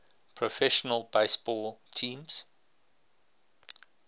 professional baseball teams